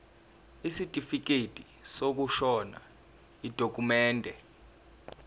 isitifikedi sokushona yidokhumende